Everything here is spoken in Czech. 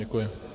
Děkuji.